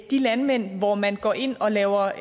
de landmænd hvor man går ind og laver